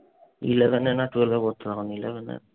eleven এ না twelve এ পড়তো তখন। eleven এ